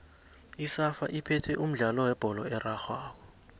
isafa iphethe umdlalo webholo erarhwako